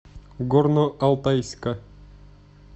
горно алтайска